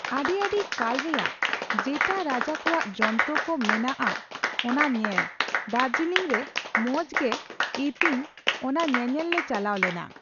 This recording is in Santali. ᱟᱹᱰᱤ ᱟᱹᱰᱤ ᱠᱟᱞ ᱨᱮᱭᱟᱜ ᱡᱮᱴᱟ ᱨᱟᱡᱟ ᱠᱚᱣᱟᱜ ᱡᱚᱱᱛᱨᱚ ᱠᱚ ᱢᱮᱱᱟᱜ ᱚᱱᱟ ᱧᱮᱞ, ᱫᱟᱨᱡᱤᱞᱤᱝ ᱨᱮ ᱢᱚᱸᱡᱽ ᱜᱮ ᱤᱛᱤᱝ ᱚᱱᱟ ᱧᱮᱧᱮᱞ ᱞᱮ ᱪᱟᱞᱟᱣ ᱞᱮᱱᱟ ᱾